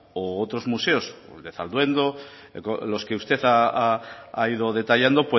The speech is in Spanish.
u otros museos el de salduondo los que usted ha ido detallando